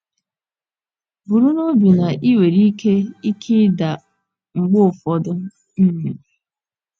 Buru n’obi na i nwere ike ike ịda mgbe ụfọdụ. um